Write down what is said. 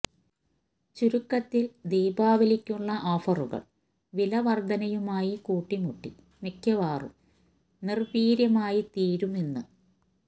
ചുരുക്കത്തില് ദീപാവലിക്കുള്ള ഓഫറുകള് വില വര്ധനയുമായി കൂട്ടിമുട്ടി മിക്കവാറും നിര്വീര്യമായിത്തീരും എന്ന്